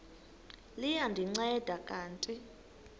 liya ndinceda kanti